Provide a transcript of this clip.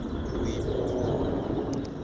boipobolo